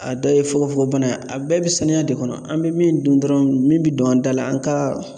A dɔ ye fogofogobana ye, a bɛɛ bɛ sanuya de kɔnɔ, an bɛ min dun dɔrɔnw, min bɛ don an da la, an ka